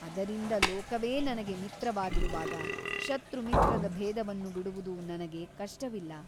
ಅದರಿಂದ ಲೋಕವೇ ನನಗೆ ಮಿತ್ರವಾಗಿರುವಾಗ ಶತ್ರುಮಿತ್ರದ ಭೇದವನ್ನು ಬಿಡುವುದು ನನಗೆ ಕಷ್ಟವಿಲ್ಲ.